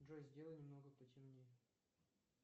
джой сделай немного потемнее